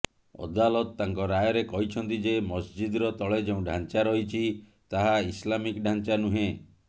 ଅଦାଲତ ତାଙ୍କ ରାୟରେ କହିଛନ୍ତି ଯେ ମସ୍ଜିଦର ତଳେ ଯେଉଁ ଢ଼ାଞ୍ଚା ରହିଛି ତାହା ଇସ୍ଲାମିକ ଢ଼ାଞ୍ଚା ନୁହେଁ